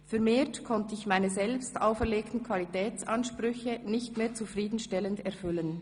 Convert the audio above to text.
Vermehrt konnte ich meine selbstauferlegten Qualitätsansprüche nicht mehr zufriedenstellend erfüllen.